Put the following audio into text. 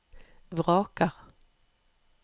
vraker